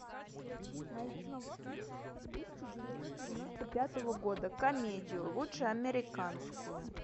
найти фильм тысяча девятьсот девяносто пятого года комедию лучше американскую